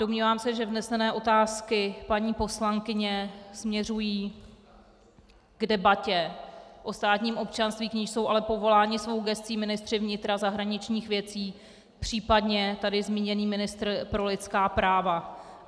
Domnívám se, že vznesené otázky paní poslankyně směřují k debatě o státním občanství, k níž jsou ale povoláni svou gescí ministři vnitra, zahraničních věcí, případně tady zmíněný ministr pro lidská práva.